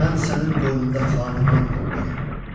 Mən sənin qoynunda xaniman qurdum.